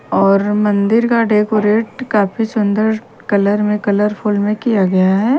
और मंदिर का डेकोरेट काफी सुंदर कलर में कलरफुल में किया गया है।